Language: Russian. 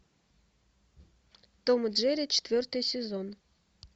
том и джерри четвертый сезон